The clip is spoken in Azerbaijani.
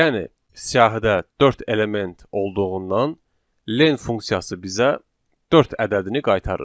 Yəni siyahıda dörd element olduğundan len funksiyası bizə dörd ədədini qaytarır.